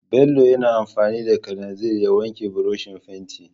Bello yana amfani da kalanzir ya wanke burushin fenti.